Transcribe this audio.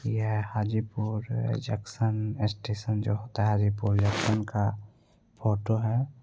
यह Hajipur junction station जो होता है हाजीपुर जंक्शन का फोटो है।